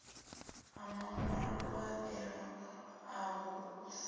a maṅwaelo aho u sa